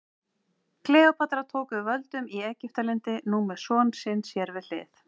Kleópatra tók við völdum í Egyptalandi, nú með son sinn sér við hlið.